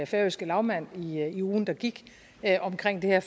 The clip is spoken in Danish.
færøske lagmand i i ugen der gik omkring det her